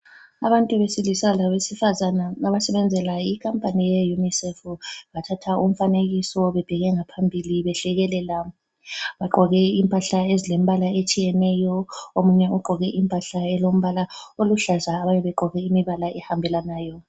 Abantu besilisa labesifazana abasebenzela ikhampani yeUNICEF bathatha umfanekiso bebheke ngaphambili behlekelela. Bagqoke impahla ezilembala etshiyeneyo, omunye ugqoke impahla elombala oluhlaza abanye bagqoke imibala ehambelanayo.